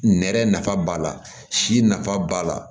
Nɛrɛ nafa b'a la si nafa b'a la